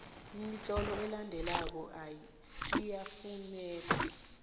imitlolo elandelako iyafuneka